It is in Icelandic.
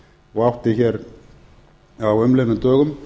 og átti hér á umliðnum dögum